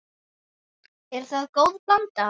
Er það góð blanda.